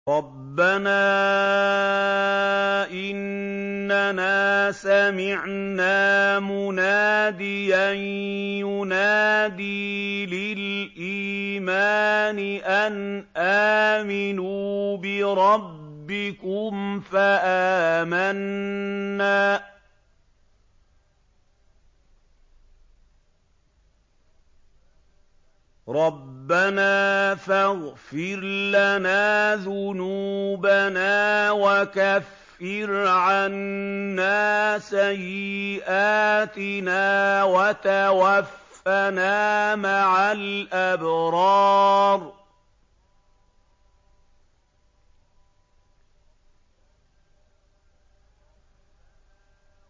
رَّبَّنَا إِنَّنَا سَمِعْنَا مُنَادِيًا يُنَادِي لِلْإِيمَانِ أَنْ آمِنُوا بِرَبِّكُمْ فَآمَنَّا ۚ رَبَّنَا فَاغْفِرْ لَنَا ذُنُوبَنَا وَكَفِّرْ عَنَّا سَيِّئَاتِنَا وَتَوَفَّنَا مَعَ الْأَبْرَارِ